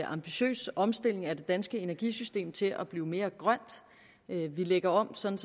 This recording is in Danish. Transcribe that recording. ambitiøs omstilling af det danske energisystem til at blive mere grønt vi lægger om sådan